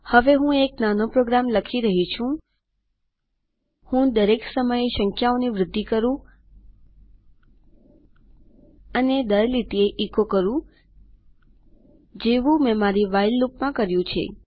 હવે હું એક નાનો પ્રોગ્રામ લખી રહી છું હું દરેક સમયે સંખ્યાઓની વૃદ્ધિ કરું અને દર લીટીએ એચો કરું જેવું મેં મારી વ્હાઇલ લૂપમાં કર્યું છે